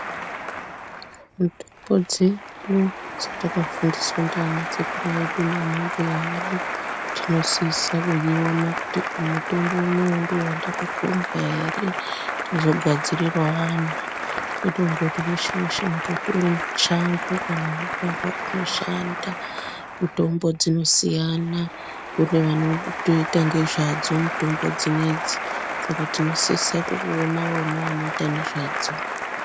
Mitombo dzedu dzatakafundiswa ndianasekuru edu naanambuya edu tinosise kuona kuti mutombo uno ndiwo wandakakhombwa ere tozogadzirirawo anhu kwete kuti mutombo weshe changu kana mugwavha unoshanda. Mitombo dzinosiyana. Kune vanotoite ngezvadzo mitombo dzinedzi. Saka tinosisa kuona vanoita nezvadzo mitombo dzinedzi.